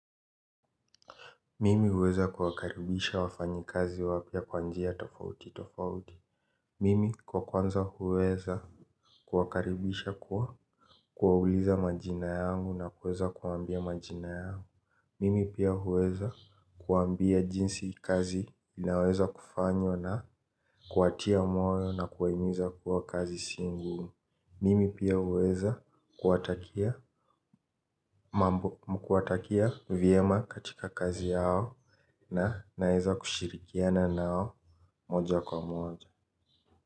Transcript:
Mimi huweza kuwakaribisha wafanyi kazi wapya kwa njia tofauti tofauti. Mimi kwa kwanza huweza kuwakaribisha kuwa kuwauliza majina yangu na kuweza kuwaambia majina yangu mimi pia huweza kuwaambia jinsi kazi inaweza kufanywa na kuwatia moyo na kuwahimiza kuwa kazi si ngumu. Mimi pia huweza kuwatakia mambo kuwatakia vyema katika kazi yao. Na naeza kushirikiana nao moja kwa moja.